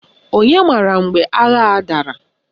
Onye mara mgbe agha a dara?